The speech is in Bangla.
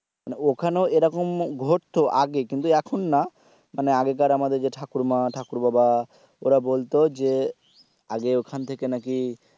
মানে ওখানে এরকম ঘটতো আগে কিন্তু এখন না মানে আগেকার আমাদের ঠাকুরমা ঠাকুর বাবা ওরা বলতো যে আগে ওখান থেকে নাকি।